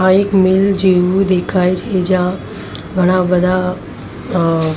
આ એક મિલ જેવું દેખાય છે જ્યાં ઘણા-બધા અં --